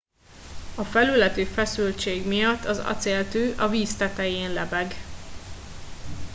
a felületi feszültség miatt az acéltű a víz tetején lebeg